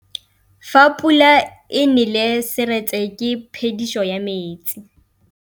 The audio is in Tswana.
Fa pula e nelê serêtsê ke phêdisô ya metsi.